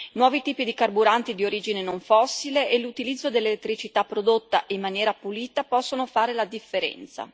Nuovi tipi di carburanti di origine non fossile e l'utilizzo dell'elettricità prodotta in maniera pulita possono fare la differenza.